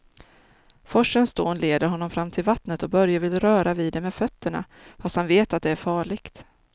Forsens dån leder honom fram till vattnet och Börje vill röra vid det med fötterna, fast han vet att det är farligt.